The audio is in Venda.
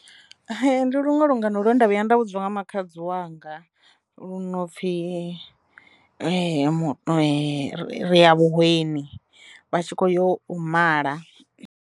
Ndi luṅwe lungano lwendo vhuya nda vhudzwa nga makhadzi wanga lu no pfi ri ya vhuhweni vha tshi kho yo u mala.